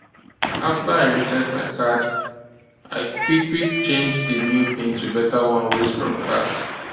after i reset my card i quickquick change di new pin to beta one wey strong pass